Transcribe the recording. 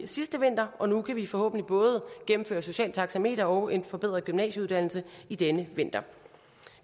sidste vinter og nu kan vi forhåbentlig både gennemføre socialt taxameter og en forbedret gymnasieuddannelse i denne vinter